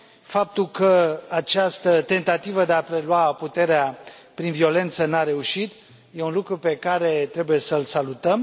Faptul că această tentativă de a prelua puterea prin violență nu a reușit e un lucru pe care trebuie să l salutăm.